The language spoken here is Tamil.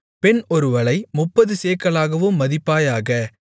பெண் ஒருவளை முப்பது சேக்கலாகவும் மதிப்பாயாக